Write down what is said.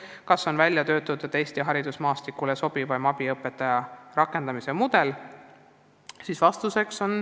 Kas on välja töötatud Eesti haridusmaastikule sobivaim abiõpetaja rakendamise mudel?